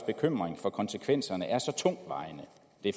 bekymring for konsekvenserne er så tungtvejende